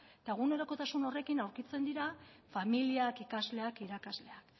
eta egunerokotasun aurkitzen dira familiak ikasleak irakasleak